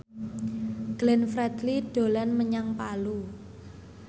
Glenn Fredly dolan menyang Palu